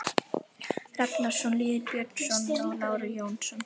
Ragnarsson, Lýður Björnsson og Lárus Jónsson.